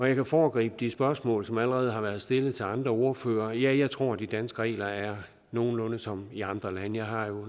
jeg kan foregribe de spørgsmål som allerede har været stillet til andre ordførere ja jeg tror at de danske regler er nogenlunde som i andre lande jeg har